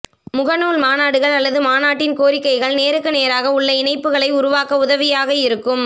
முகநூல் மாநாடுகள் அல்லது மாநாட்டின் கோரிக்கைகள் நேருக்கு நேராக உள்ள இணைப்புகளை உருவாக்க உதவியாக இருக்கும்